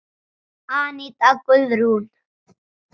Aníta Guðrún.